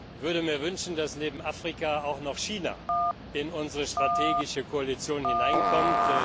Ich würde mir wünschen, dass neben Afrika auch noch China in unsere strategische Koalition hineinkommt.